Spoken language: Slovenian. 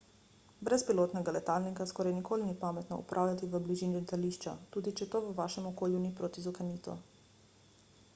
brezpilotnega letalnika skoraj nikoli ni pametno upravljati v bližini letališča tudi če to v vašem okolišu ni protizakonito